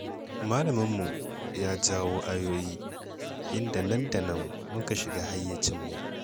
Malaminmu ya jawo ayoyi, inda nan da nan muka shiga hayyacinmu.